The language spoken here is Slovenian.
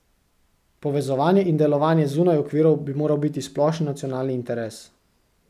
Povezovanje in delovanje zunaj okvirov bi moral biti splošni nacionalni interes.